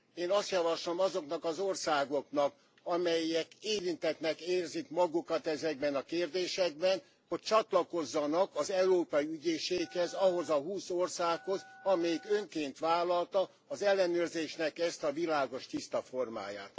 Én azt javaslom azoknak az országoknak, amelyek érintettnek érzik magukat ezekben a kérdésekben, hogy csatlakozzanak az Európai Ügyészséghez, ahhoz a húsz országhoz, amely önként vállalta az ellenőrzésnek ezt a világos, tiszta formáját.